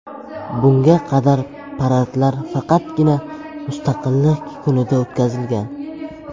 Bunga qadar paradlar faqatgina Mustaqillik kunida o‘tkazilgan.